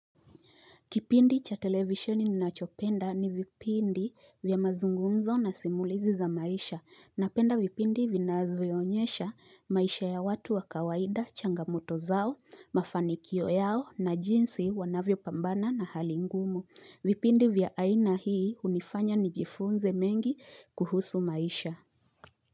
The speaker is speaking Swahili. Kipindi cha televisheni ninachopenda ni vipindi vya mazungumzo na simulizi za maisha. Napenda vipindi vinavyoonyesha maisha ya watu wa kawaida, changamoto zao, mafanikio yao na jinsi wanavyopambana na hali ngumu. Vipindi vya aina hii hunifanya nijifunze mengi kuhusu maisha.